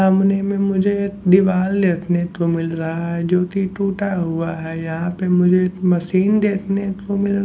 सामने में मुझे एक दीवाल देखने को मिल रहा है जोकि टूटा हुआ है यहाँ पे मुझे एक मशीन देखने को मिल --